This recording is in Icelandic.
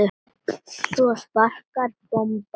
Svo sprakk bomban.